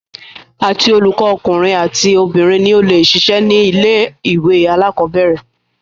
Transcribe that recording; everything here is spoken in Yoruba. Àti olùkọ ọkùnrin àti obìnrin ni o le ṣiṣẹ́ ní ilé ìwé alákọ̀berẹ̀.